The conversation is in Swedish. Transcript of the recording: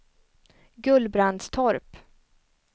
Gullbrandstorp